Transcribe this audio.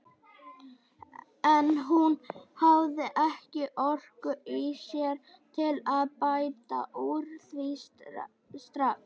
En hún hafði ekki orku í sér til að bæta úr því strax.